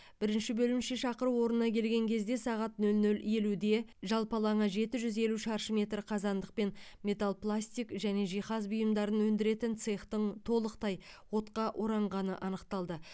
бірінші бөлімше шақыру орнына келген кезде сағат нөл нөл елуде жалпы алаңы жеті жүз елу шаршы метр қазандық пен металл пластик және жиһаз бұйымдарын өндіретін цехтың толықтай отқа оранғаны анықталды